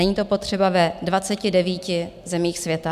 Není to potřeba ve 29 zemích světa.